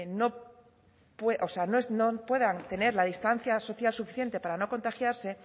no o sea no puedan tener la distancia social suficiente para no contagiarse